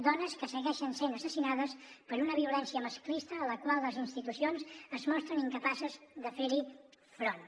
dones que segueixen essent assassinades per una violència masclista a la qual les institucions es mostren incapaces de fer hi front